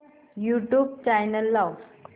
YouTube channel लाव